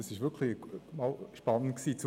Es war wirklich einmal spannend zuzuhören.